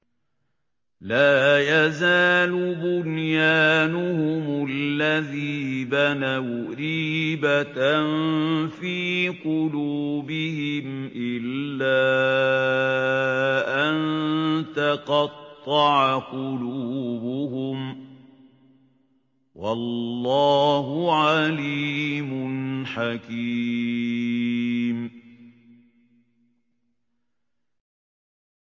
لَا يَزَالُ بُنْيَانُهُمُ الَّذِي بَنَوْا رِيبَةً فِي قُلُوبِهِمْ إِلَّا أَن تَقَطَّعَ قُلُوبُهُمْ ۗ وَاللَّهُ عَلِيمٌ حَكِيمٌ